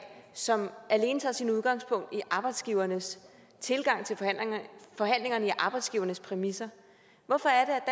som alene tager sit udgangspunkt i arbejdsgivernes tilgang til forhandlingerne altså på arbejdsgivernes præmisser hvorfor er